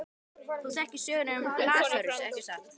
Þú þekkir söguna um Lasarus, ekki satt?